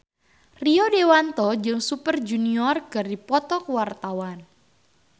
Rio Dewanto jeung Super Junior keur dipoto ku wartawan